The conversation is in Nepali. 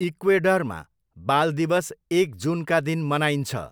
इक्वेडरमा, बाल दिवस एक जुनका दिन मनाइन्छ।